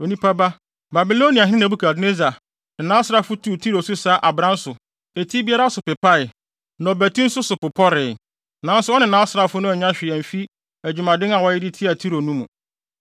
“Onipa ba, Babiloniahene Nebukadnessar ne nʼasraafo tuu Tiro so sa abran so, eti biara so pepae, na ɔbati nso so popɔree. Nanso ɔne nʼasraafo no annya hwee amfi adwumaden a wɔyɛ de tiaa Tiro no mu.